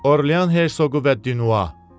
Orlean Hersoqu və Dünoa.